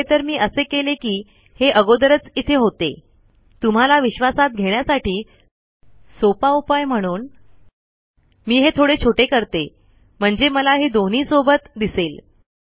खरे तर मी असे केले कि हे अगोदरच इथे होते तुम्हाला विश्वासात घेण्यासाठी सोपा उपाय म्हणून मी हे थोडे छोटे करते म्हणजे मला हे दोन्ही सोबत दिसेल